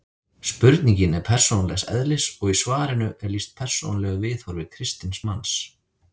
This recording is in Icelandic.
Spurningin er persónulegs eðlis og í svarinu er lýst persónulegu viðhorfi kristins manns.